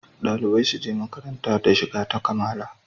Dalibai suje makaranta da shiga ta kamala